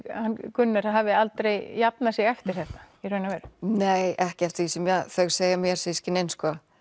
Gunnar hafi aldrei jafnað sig eftir þetta í raun og veru nei ekki eftir því sem þau segja mér systkinin